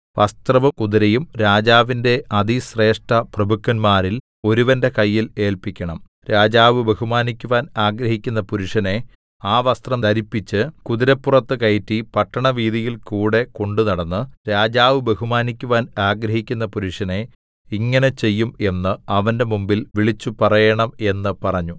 വസ്ത്രവും കുതിരയും രാജാവിന്റെ അതിശ്രേഷ്ഠപ്രഭുക്കന്മാരിൽ ഒരുവന്റെ കയ്യിൽ ഏല്പിക്കണം രാജാവ് ബഹുമാനിക്കുവാൻ ആഗ്രഹിക്കുന്ന പുരുഷനെ ആ വസ്ത്രം ധരിപ്പിച്ച് കുതിരപ്പുറത്ത് കയറ്റി പട്ടണവീഥിയിൽ കൂടെ കൊണ്ടുനടന്നു രാജാവ് ബഹുമാനിക്കുവാൻ ആഗ്രഹിക്കുന്ന പുരുഷനെ ഇങ്ങനെ ചെയ്യും എന്ന് അവന്റെ മുമ്പിൽ വിളിച്ചുപറയേണം എന്ന് പറഞ്ഞു